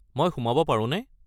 মই সোমাব পাৰোনে?